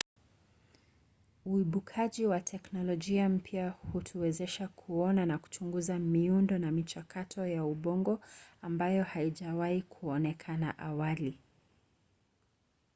uibukaji wa teknolojia mpya hutuwezesha kuona na kuchunguza miundo na michakato ya ubongo ambayo haijawahi kuonekana awali